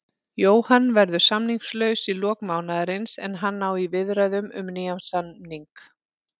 Jóhann verður samningslaus í lok mánaðarins en hann á í viðræðum um nýjan samning.